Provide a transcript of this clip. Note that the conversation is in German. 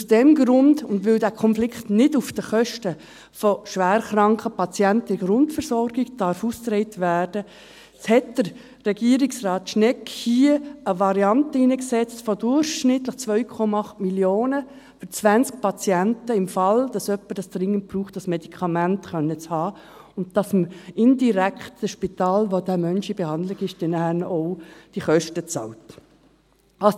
Aus diesem Grund und weil dieser Konflikt nicht auf den Kosten von schwerkranken Patienten in der Grundversorgung ausgetragen werden darf, hat Regierungsrat Schnegg hier eine Variante von durchschnittlich 2,8 Mio. Franken für 20 Patienten eingesetzt, für den Fall, dass jemand ein Medikament dringend braucht, und dass man dem Spital, in welchem dieser Mensch in Behandlung ist, dann diese Kosten indirekt bezahlt.